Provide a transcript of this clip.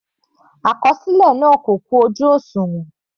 Àkọsílẹ náà kò kún ojú òṣùwọ̀n.